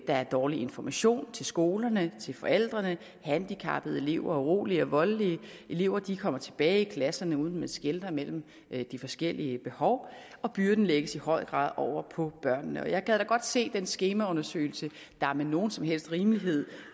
der er dårlig information til skolerne til forældrene handicappede elever urolige og voldelige elever kommer tilbage i klasserne uden at man skelner mellem de forskellige behov og byrden lægges i høj grad over på børnene jeg gad da godt se den skemaundersøgelse der med nogen som helst rimelighed